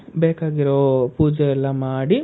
ಬೇಕಾಗಿರೋ ಪೂಜೆ ಎಲ್ಲ ಮಾಡಿ,